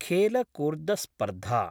खेलकूर्दस्पर्धा